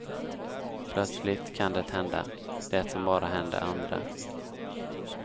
Plötsligt kan det hända, det som bara händer andra.